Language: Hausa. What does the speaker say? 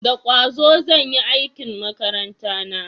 Da kwazo zan yi aikin makaranta na